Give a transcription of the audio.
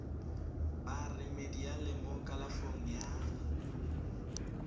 ba remediale mo kalafong ya